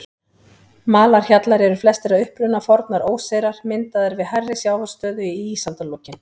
Malarhjallar eru flestir að uppruna fornar óseyrar, myndaðir við hærri sjávarstöðu í ísaldarlokin.